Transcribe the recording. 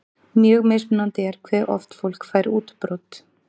Mjög mismunandi er hve oft fólk fær útbrot.